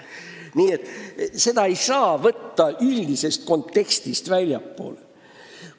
Nii et seda kõike ei saa võtta üldisest kontekstist väljaspool.